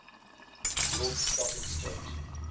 york stock exchange